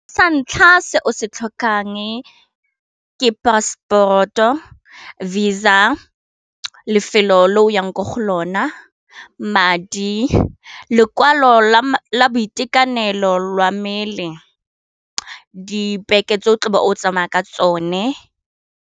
Sa ntlha se o se tlhokang ke passport-o, Visa lefelo le oyang kwa go lona madi lekwalo la boitekanelo lwa mmele dipeke tse o tlabe o tsamaya ka tsone.